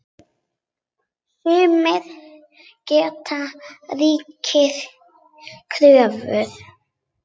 Sumir gera ríkari kröfur.